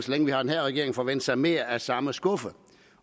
længe vi har den her regering forvente sig mere af samme skuffe